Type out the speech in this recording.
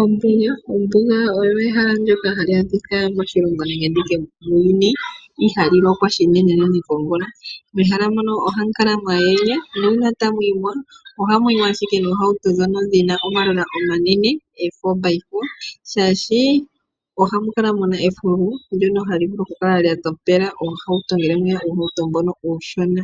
Ombuga, ombuga oyo ehala ndjoka hali adhika moshilongo nenge muuyuni, ihaali lokwa shinene nene komvula. Pehala mpono oha mu kala mwa ndjena, nuuna tamu yimo ohamu yimo noohawuto dhi na dhomalola omanene oo4-by-4 shaashi ohamu kala mu na eefulu ndjono hali vulu okukala lya dhamela oohawuto unene uuhawuto mboka uushona.